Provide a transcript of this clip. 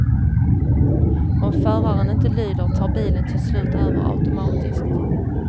Om föraren inte lyder tar bilen till slut över automatiskt.